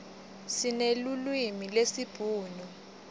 sinelulwimi lesibhunu